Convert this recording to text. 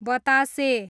बतासे